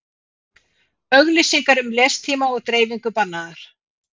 Auglýsingar um lestíma og dreifingu bannaðar